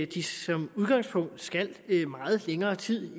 de som udgangspunkt skal i meget længere tid